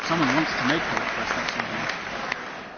Let me inform you about the procedure.